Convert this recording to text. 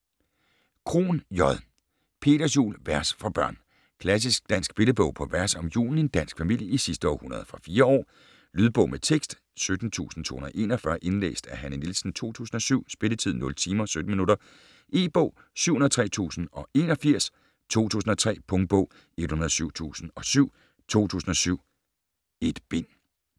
Krohn, J.: Peters jul: vers for børn Klassisk dansk billedbog på vers om julen i en dansk familie i sidste århundrede. Fra 4 år. Lydbog med tekst 17241 Indlæst af Hanne Nielsen, 2007. Spilletid: 0 timer, 17 minutter. E-bog 703081 2003. Punktbog 107007 2007. 1 bind.